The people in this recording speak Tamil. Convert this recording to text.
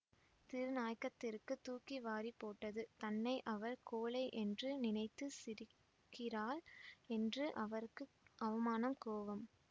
திரு நாயகத்திற்குத் தூக்கி வாரி போட்டது தன்னை அவள் கோழை என்று நினைத்து சிரிக்கிறாள் என்று அவருக்கு அவமானம் கோபம்